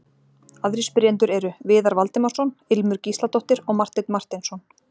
Aðrir spyrjendur eru: Viðar Valdimarsson, Ilmur Gísladóttir og Marteinn Marteinsson.